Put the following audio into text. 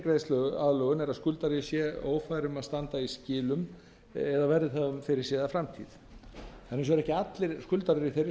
greiðsluaðlögun er að skuldari sé ófær um að standa í skilum eða verði það um fyrirséða framtíð hins vegar eru ekki allir skuldarar í þeirri